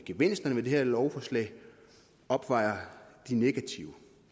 gevinsterne ved det her lovforslag opvejer det negative